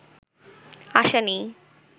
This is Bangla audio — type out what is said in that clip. আশা নেই